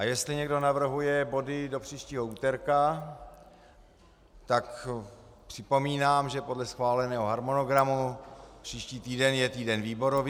A jestli někdo navrhuje body do příštího úterka, tak připomínám, že podle schváleného harmonogramu příští týden je týden výborový.